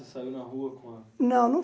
Não não